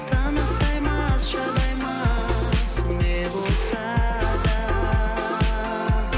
таныстаймыз шыдаймыз не болса да